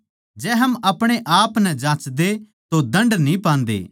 जै हम अपणे आपनै जाँचदे तो दण्ड न्ही पांदे